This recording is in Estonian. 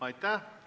Aitäh!